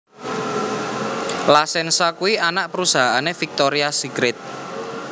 La Senza kuwi anak perusahaane Victoria's Secret